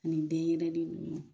Nin denyɛrɛni nunnu